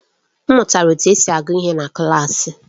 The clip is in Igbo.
M mụtara otú e si agụ ihe na klaasị.